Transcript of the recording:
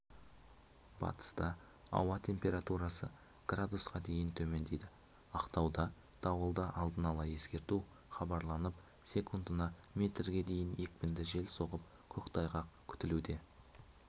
батыста ауа температурасы градусқа дейін төмендейді ақтауда дауылды алдын ала ескерту хабарланып секундына метрге дейін екпінді жел соғып көктайғақ күтілуде